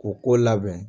K'u ko labɛn